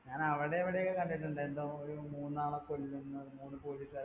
ഞാൻ അവിടെയവിടെ ഒക്കെ കണ്ടിട്ടുണ്ട്. എന്തോ ഒരു മൂന്നാളെ കൊല്ലുന്നത് മൂന്ന് police കാരെ